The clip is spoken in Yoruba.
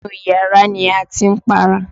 Inú yàrá ni a ti ń para.